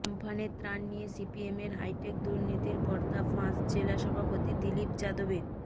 আমফানের ত্রাণ নিয়ে সিপিএমের হাইটেক দুর্নীতির পর্দা ফাঁস জেলা সভাপতি দিলীপ যাদবের